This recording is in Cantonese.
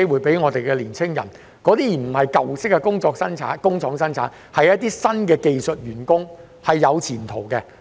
這些並非舊式工廠的生產員工，而是一些新的技術員工，是有前途的。